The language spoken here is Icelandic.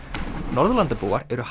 Norðurlandabúar eru